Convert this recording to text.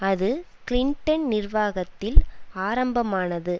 அது கிளிண்டன் நிர்வாகத்தில் ஆரம்பமானது